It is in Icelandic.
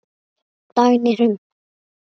Dagný Hrund.